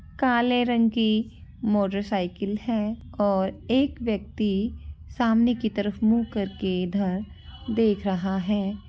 काले रंग की मोटर साईकिल है और एक व्यक्ति सामने की तरफ मुँह करके इधर देख रहा है।